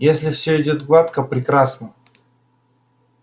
если все идёт гладко прекрасно